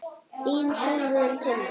Þín Sólrún Tinna.